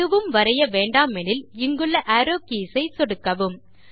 எதுவும் வரைய வேண்டாமெனில் இங்குள்ள அரோவ் கீஸ் ஐ சொடுக்கவும்